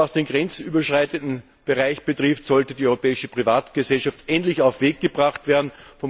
Was den grenzüberschreitenden Bereich betrifft, sollte die europäische Privatgesellschaft endlich auf den Weg gebracht werden.